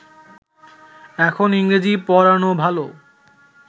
এখন ইংরেজী পড়ানো ভালো